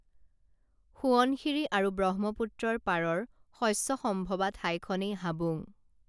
সোৱণশিৰি আৰু ব্ৰহ্মপুত্ৰৰ পাৰৰ শস্যসম্ভৱা ঠাইখনেই হাবুং